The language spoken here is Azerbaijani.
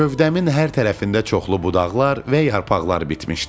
Gövdəmin hər tərəfində çoxlu budaqlar və yarpaqlar bitmişdi.